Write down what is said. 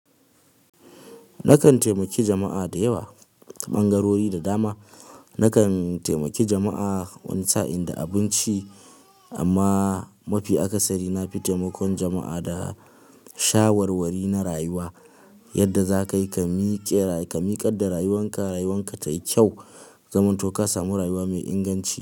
Nakan taimaki jama'a da yawa, ɓangarori da dama. Nakan taimake jama'a wani sa'in da abinci amma mafi akasari na fi taimakon jama'a da shawarwari na rayuwa, yadda za ka yi ka miƙe ka miƙar da rayuwan ka, rayuwan ka tayi kyau, zamanto ka samu rayuwa mai inganci.